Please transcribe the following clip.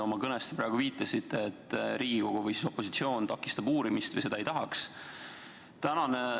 Oma kõnes te praegu viitasite, et Riigikogu või siis opositsioon takistab uurimist või et ta seda ei taha.